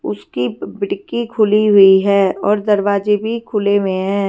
उसकी खिड़कीखुली हुई है और दरवाजे भी खुले हुए है।